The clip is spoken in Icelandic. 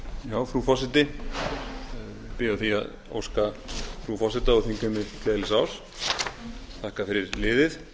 á því að óska frú forseta og þingheimi gleðilegs árs og þakka fyrir liðið